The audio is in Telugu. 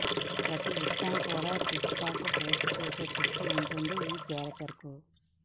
ప్రతీ విషయాన్ని కూడా టిక్ టాక్లో పోస్ట్ చేసే పిచ్చి ఉంటుంది ఈ కారెక్టర్కు